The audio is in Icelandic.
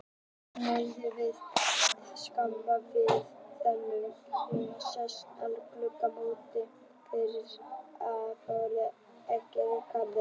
Niðri við túnjaðar, skammt fyrir neðan Kringlu sést enn glöggt móta fyrir fornum ferhyrndum garði.